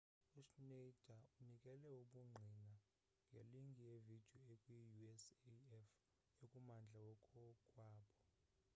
uschneider unikele ubungqina ngelinki yevidiyo ekwiusaf ekummandla wakokwabo